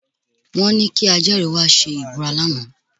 Wọ́n ní kí ajẹ́rìí wá ṣe ìbúra lánàá